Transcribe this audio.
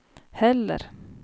heller